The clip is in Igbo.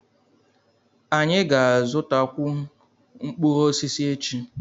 Anyị ga-azụtakwu mkpụrụ osisi echi.